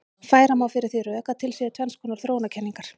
Færa má fyrir því rök að til séu tvenns konar þróunarkenningar.